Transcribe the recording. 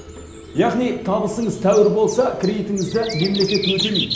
яғни табысыңыз тәуір болса кредитіңізді мемлекет өтемейді